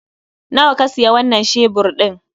Nawa ka siya wanan shebur ɗin?